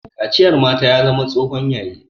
Kaciyar mata ya zama tsohon yayi